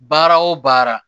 Baara o baara